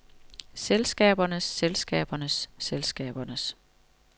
selskabernes selskabernes selskabernes